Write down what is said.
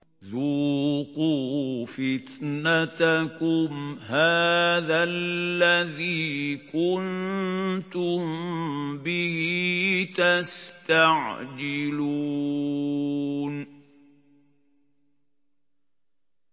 ذُوقُوا فِتْنَتَكُمْ هَٰذَا الَّذِي كُنتُم بِهِ تَسْتَعْجِلُونَ